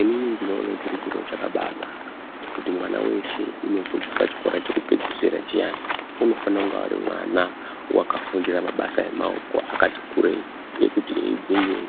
Inini ndinoona chiri chiro chakambainaka kuti mwana weshe unosvika pachikora chekupedzisira chiya ichi, unofanira kunga ari mwana akafundira mabasa emaoko akati kurei ekuti iyewo